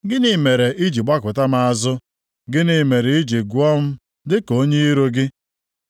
Gịnị mere i ji gbakụta m azụ? + 13:24 \+xt Abụ 13:1\+xt* Gịnị mere i ji gụọ m dịka onye iro gị?